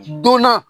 Donna